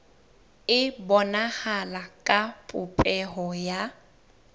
e bonahala ka popeho ya